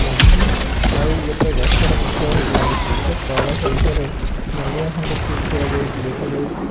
ଲାଗିଚି ଆଉ ଗୋଟାଏ ଗଛର ପତଳା ହୋଇକି ଲାଗିଚି ଗୋଟିଏ କଳସ ଉପରେ ନଡିଆ ଖଣ୍ଡ ଟିଏ ଥୁଆ ଯାଇଚି ଦେଖାଯାଇଚି।